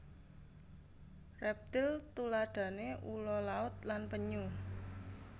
Reptil tuladhane ula laut lan penyu